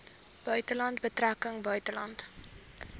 buitelandse betrekkinge buitelandse